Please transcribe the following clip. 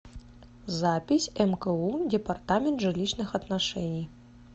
запись мку департамент жилищных отношений